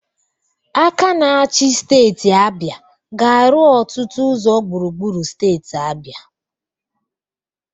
Aka na-achi steeti Abia ga-arụ ọtụtụ ụzọ gbụrugbụru steeti Abia.